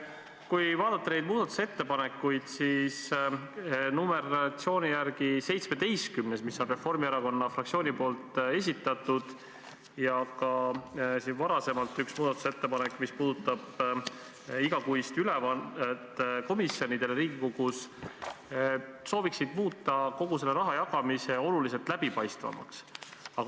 Kui vaadata neid muudatusettepanekuid, siis on näha, et ettepanek nr 17, mille on esitanud Reformierakonna fraktsioon, ja ka üks varasem muudatusettepanek, mis puudutab igakuist ülevaate andmist Riigikogu komisjonidele, sooviksid muuta kogu selle rahajagamise oluliselt läbipaistvamaks.